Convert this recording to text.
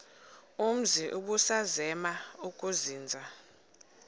umzi ubusazema ukuzinza